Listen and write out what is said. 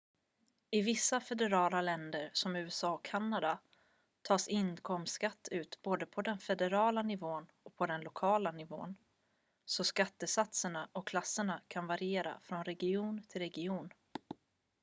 i vissa federala länder som usa och kanada tas inkomstskatt ut både på den federala nivån och på den lokala nivå så skattesatserna och klasserna kan variera från region till region